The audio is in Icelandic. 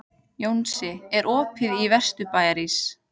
Jónsi, er opið í Vesturbæjarís?